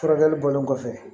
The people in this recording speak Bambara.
Furakɛli bɔlen kɔfɛ